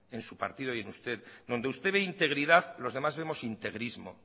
en su partido y en usted donde usted ve integridad los demás vemos integrismo